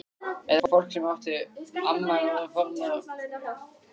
Eða fólk sem átti betra skilið?